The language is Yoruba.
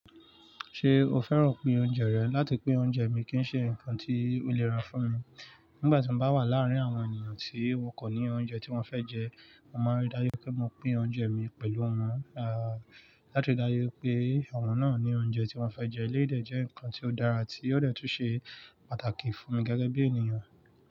Ṣé o fẹ́ràn pín oúnjẹ rẹ? Láti pín oúnjẹ mi kì í ṣe nǹkan tí ó niran fún mi. Nígbà tí mo bá wà láàárín àwọn ènìyàn tí wọn kò ní oúnjẹ tí wọ́n fẹ́ jẹ, mo máa ń ríi dájú pé mo pín oúnjẹ mi pẹ̀lú wọn, ah, láti ríi dájú pé àwọn náà ní oúnjẹ tí wọ́n fẹ́ jẹ. Elédè jẹ́ nǹkan tí ó dára, tí ó dẹ́tù se pàtàkì fún mi gẹ́gẹ́ bí ènìyàn.